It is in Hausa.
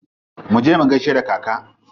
Muje mu gaishe da kaka.